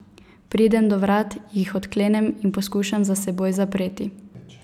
Pridem do vrat, jih odklenem in poskušam za seboj zapreti.